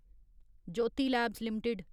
Jyoti labs limited